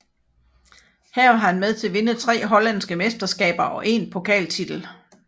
Her var han med til at vinde tre hollandske mesterskaber og én pokaltitel